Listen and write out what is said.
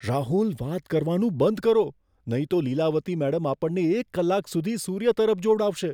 રાહુલ! વાત કરવાનું બંધ કરો, નહીં તો લીલાવતી મેડમ આપણને એક કલાક સુધી સૂર્ય તરફ જોવડાવશે.